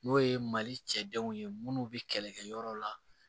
N'o ye mali cɛw ye minnu bɛ kɛlɛ kɛ yɔrɔ la